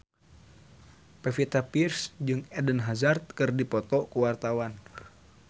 Pevita Pearce jeung Eden Hazard keur dipoto ku wartawan